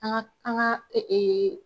An ŋa an ŋa